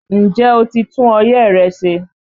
Ǹjẹ́ o ti tún ọyẹ́ rẹ ṣe?